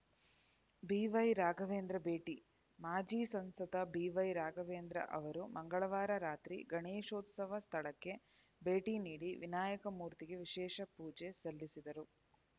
ಬಿವೈರಾಘವೇಂದ್ರ ಭೇಟಿ ಮಾಜಿ ಸಂಸದ ಬಿವೈ ರಾಘವೇಂದ್ರ ಅವರು ಮಂಗಳವಾರ ರಾತ್ರಿ ಗಣೇಶೋತ್ಸವ ಸ್ಥಳಕ್ಕೆ ಭೇಟಿ ನೀಡಿ ವಿನಾಯಕ ಮೂರ್ತಿಗೆ ವಿಶೇಷ ಪೂಜೆ ಸಲ್ಲಿಸಿದರು